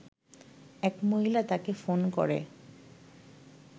এক মহিলা তাকে ফোন করে